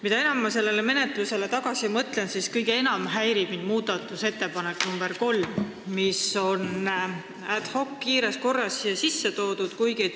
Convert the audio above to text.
Mida enam ma sellele menetlusele tagasi mõtlen, seda enam häirib mind muudatusettepanek nr 3, mis on ad hoc kiires korras esitatud.